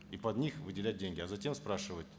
и под них выделять деньги а затем спрашивать